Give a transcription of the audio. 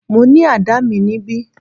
Mo ní àdá mi níbí.